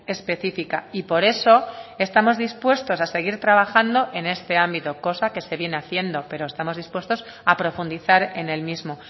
específica y por eso estamos dispuestos a seguir trabajando en este ámbito cosa que se viene haciendo pero estamos dispuestos a profundizar en el mismo